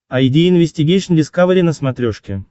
айди инвестигейшн дискавери на смотрешке